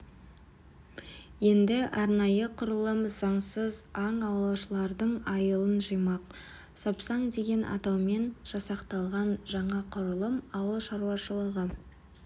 енді арнайы құрылым заңсыз аң аулаушылардың айылын жимақ сапсан деген атаумен жасақталған жаңа құрылым ауыл шаруашылығы